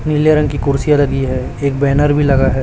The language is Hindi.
नीले रंग की कुर्सियां लगी हैं एक बैनर भी लगा है।